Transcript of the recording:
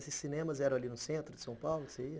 Esses cinemas eram ali no centro de São Paulo? você ia